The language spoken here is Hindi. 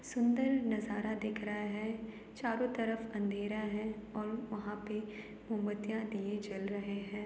सुन्दर नजारा दिख रहा है। चारो तरफ अंधेरा है और वहाँ पे मोमबत्तियाँ दिए जल रहें हैं।